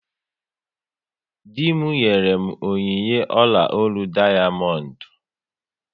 Dị m nyere m onyinye ọla ólú dayamondu